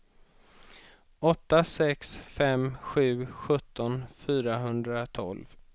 åtta sex fem sju sjutton fyrahundratolv